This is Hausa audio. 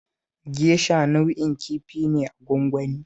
Gesha nau'in kifi ne na gwangwani